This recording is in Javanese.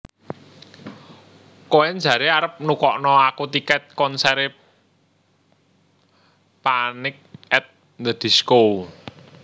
Koen jare arep nukokno aku tiket konsere Panic at the Disco